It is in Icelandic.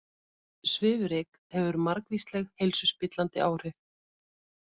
Svifryk hefur margvísleg heilsuspillandi áhrif